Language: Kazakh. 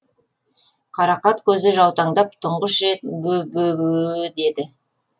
қарақат көзі жаутаңдап тұңғыш рет бө бө өө деді